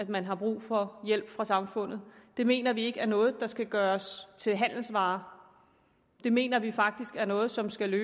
man har brug for hjælp fra samfundet det mener vi ikke er noget der skal gøres til en handelsvare det mener vi faktisk er noget som skal